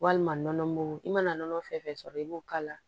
Walima nɔnɔ mugu i mana nɔnɔ fɛn fɛn sɔrɔ i b'o k'a la